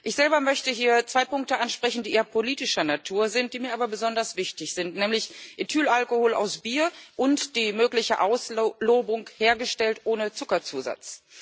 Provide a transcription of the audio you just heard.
Ich selber möchte ich hier zwei Punkte ansprechen, die eher politischer Natur sind, die mich aber besonders wichtig sind, nämlich Ethylalkohol aus Bier und die mögliche Auslobung hergestellt ohne Zuckerzusatz.